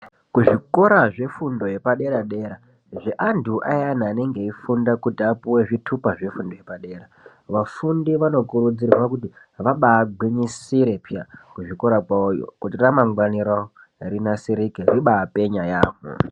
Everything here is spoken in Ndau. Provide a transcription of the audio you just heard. Kuzvikora zvefundo yepadera dera zveantu ayani anenge eifunda kuti apuwe zvitupa zvefundo yepadera. Vafundi vanokurudzirwa kuti vabagwinyisire peya kuzvikora kwawoyo kuti ramangwani rawo rinasirike ribapenya yampho.